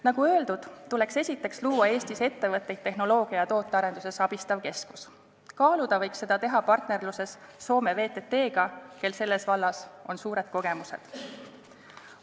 Nagu öeldud, tuleks esiteks luua Eestis ettevõtteid tehnoloogia- ja tootearenduses abistav keskus, kaaluda võiks seda teha partnerluses Soome VTT-ga, kel selles vallas on suured kogemused.